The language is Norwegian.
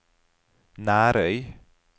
Nærøy